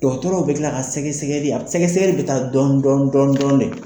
Dɔgɔtɔrɔw bɛ kila ka sɛgɛsɛgɛli a sɛgɛsɛgɛli bɛ taa dɔɔni dɔɔni dɔn dɔn dɛ.